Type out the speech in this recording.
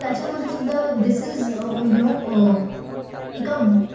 त्याच्यामध्ये सुद्धा this is you know, एका